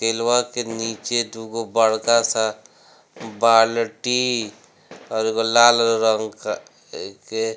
केलवा के नीचे दुगो बड़का सा बाल्टी और एगो लाल रंग का अ के।